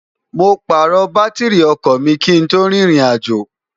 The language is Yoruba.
mo pààrọ̀ bátírrì ọkọ̀ mi kí n tó rin irìnàjò